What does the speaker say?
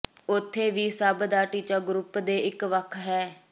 ਉੱਥੇ ਵੀ ਸਭ ਦਾ ਟੀਚਾ ਗਰੁੱਪ ਦੇ ਇੱਕ ਵੱਖ ਹੈ